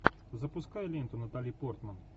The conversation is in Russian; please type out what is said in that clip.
запускай ленту натали портман